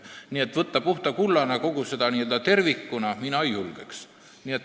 Nii et mina ei julgeks võtta puhta kullana kogu seda n-ö tervikut.